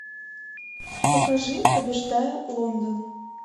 покажи побеждая лондон